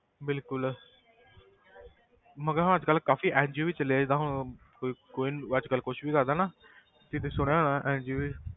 ਬਿਲਕੁਲ ਮਗਰ ਅੱਜ ਕੱਲ੍ਹ ਕਾਫ਼ੀ NGO ਵੀ ਚੱਲੇ ਆ ਜਿੱਦਾਂ ਹੁਣ ਕੋਈ ਕੋਈ ਅੱਜ ਕੱਲ੍ਹ ਕੁਛ ਵੀ ਕਰਦਾ ਨਾ ਕਿ ਤੁਸੀਂ ਸੁਣਿਆ ਹੋਣਾ ਹੈ NGO